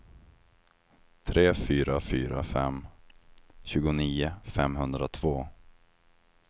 tre fyra fyra fem tjugonio femhundratvå